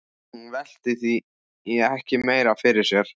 Hún velti því ekki meira fyrir sér.